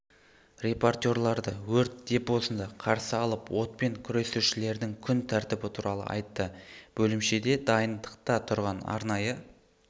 репортерларды өрт депосында қарсы алып отпен күресушілердің күн тәртібі туралы айтты бөлімшеде дайындықта тұрған арнайы